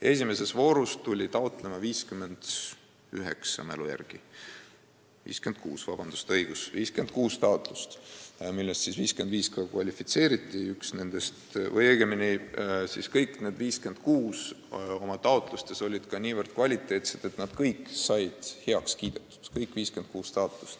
Esimeses voorus oli taotlejaid 56 ja kõik need 56 taotlust olid nii kvaliteetselt koostatud, et nad kõik said heaks kiidetud.